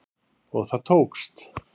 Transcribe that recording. Og það tókst